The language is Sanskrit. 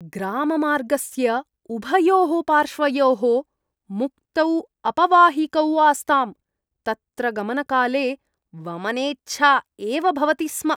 ग्राममार्गस्य उभयोः पार्श्वयोः मुक्तौ अपवाहिकौ आस्ताम्, तत्र गमनकाले वमनेच्छा एव भवति स्म।